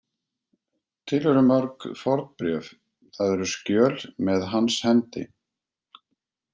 Til eru mörg fornbréf, það eru skjöl, með hans hendi.